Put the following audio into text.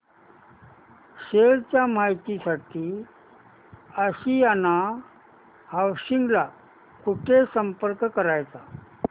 share च्या माहिती साठी आशियाना हाऊसिंग ला कुठे संपर्क करायचा